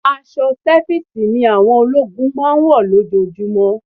Aṣọ sẹfísì ni wọ́n máa ń wọ̀ lójojúmọ́.